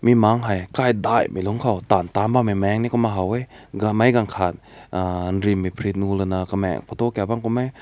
bi mak hei khai dei mai lüng kaw tan tan bam mai meng kum na hao weh ganmai gankat uuh eenrim ne phrit nu luna kemang photo kap kum meh.